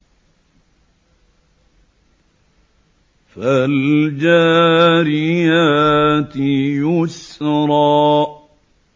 فَالْجَارِيَاتِ يُسْرًا